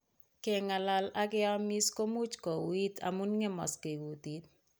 Keng'alal ak keamiis ko much kouuit amu ng'emakse kutiit.